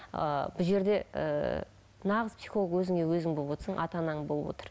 ы бұл жерде ыыы нағыз психолог өзіңе өзің болып отырсың ата анаң болып отыр